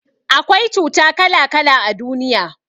Akwai cuta kala kala a duniya